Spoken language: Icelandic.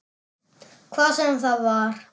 Hvað sem það var.